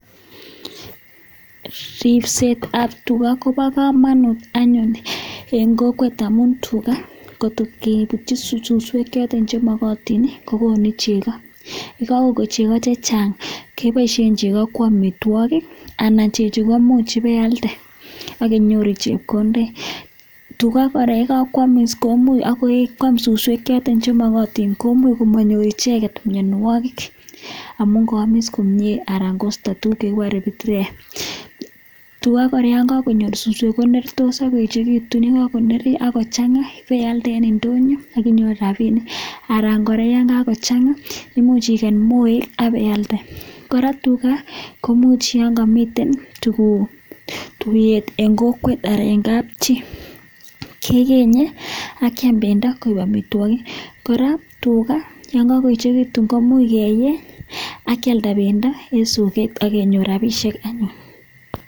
Ripsetab tuga koba kamanut eng kokwet amun tuga ngot keputyi suswek choton che magatin ii kogonu chego. Ye kagon chego che chang, keboisien chego ko amitwogik anan chechu ko imuch ibaialde ak inyoru chepkondet. Tuga kora yekakoamis komuch, ago yekakwam suswek che magatin, komuch komanyor icheget mianwogik amun kaamis komie anan kosto tuguk chegikuren "[pitrea]" Tuga kora yon kakonyor suswek konertos ak koechegitun. Ye kagonerio ak kochanga ipealde en indonyo ak inyoru rapinik. Anan kora yon kagochanga, imuch iget moek ak ipealde. Kora tuga komuch yon kamiten tuguk, tuyet eng kokwet, en kapchi keenye akiam pendo koek amitwogik. Kora tuga yonkagoechegitun komuch keeny ak kialda pendo eng soget ak kenyor rapisiek.